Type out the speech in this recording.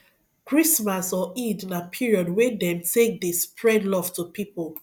christmas or eid na period wey dem take de spread love to pipo